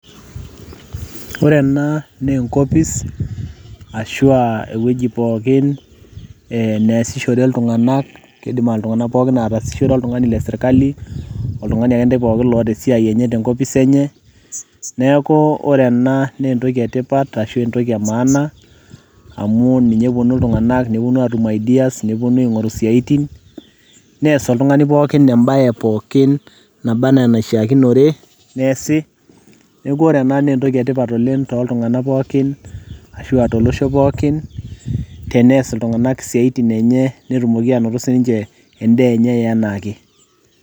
Ore ena naa enkopis arashu aa ewueji pookin naasishore iltung'anak kiidim ake iltung'anak pookin aatasishore, oltung'ani le sirkali oltung'ani akentai pookin oota esiai enye te enkopis enye, neeku ore ena naa entoki etipat ashu entoki e maana amu ninye etonie iltung'anak netum ideas neing'oru isiaitin nees oltung'ani pookin embaye pookin naba enaa enaishikinore neesi naa ntoki etipat oleng' tooltuung'anak pookin ashu aa tolosho pookin, tenees iltung'anak isiaitin enye netumoki aanoto endaa enye enaa ake.